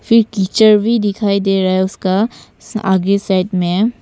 फिर कीचड़ भी दिखाई दे रहा है उसका आगे साइड में।